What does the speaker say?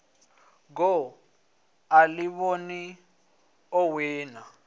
goo a ḓivhona o wina